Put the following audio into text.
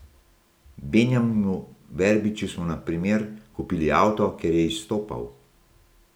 Benjaminu Verbiču smo, na primer, kupili avto, ker je izstopal.